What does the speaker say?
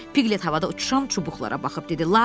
Piqlet havada uçuşan çubuqlara baxıb dedi.